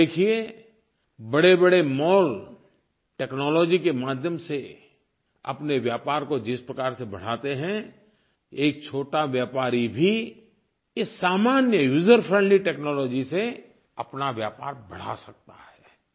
आप देखिए बड़ेबड़े मॉल टेक्नोलॉजी के माध्यम से अपने व्यापार को जिस प्रकार से बढ़ाते हैं एक छोटा व्यापारी भी इस सामान्य यूजर फ्रेंडली टेक्नोलॉजी से अपना व्यापार बढ़ा सकता है